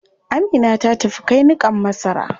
Amina ta tafi kai niƙan masara.